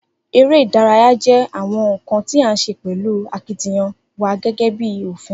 Eré ìdárayá jẹ́ àwọn nkan tí á se pẹ̀lú akitiyan wa gégé bí ófín